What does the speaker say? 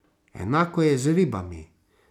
Enako je z ribami.